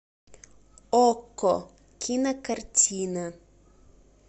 окко кинокартина